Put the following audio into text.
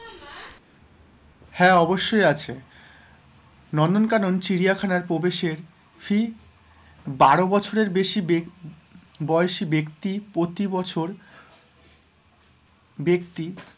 হ্যাঁ, অবশ্যই আছে নন্দন কানন চিড়িয়াখানার প্রবেশের fee বারো বছরের বেশি ব্যক বয়সী ব্যক্তি প্রতিবছর ব্যক্তি,